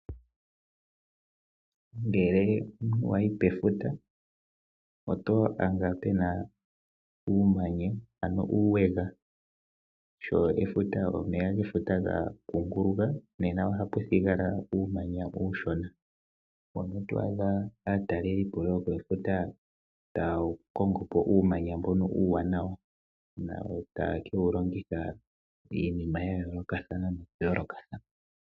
Ngele omuntu wa yi pefuta oto adha pena uumanya, ano uuweka. Sho omeya gefuta gaa kunguluka nena oha pu thigala uumanya uushona, owo nee twaadha aatalelipo yopefuta taa wu kongo po uumanya mbono uuwanawa. Na otaa kewu longitha iinima ya yoolokathana nokuyoolokathana.